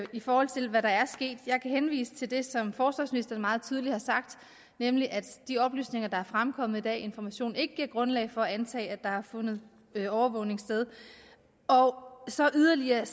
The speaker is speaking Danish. i forhold til hvad der er sket jeg kan henvise til det som forsvarsministeren meget tydeligt har sagt nemlig at de oplysninger der er fremkommet i dag i information ikke giver grundlag for at antage at der har fundet overvågning sted og så yderligere